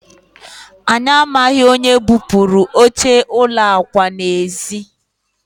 anyị amaghị onye bupuru oche ụlọ akwa n'ezi